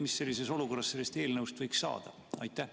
Mis sellises olukorras sellest eelnõust võiks saada?